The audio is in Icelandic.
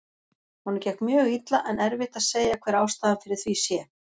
Honum gekk mjög illa en erfitt að segja hver ástæðan fyrir því sé.